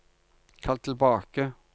kall tilbake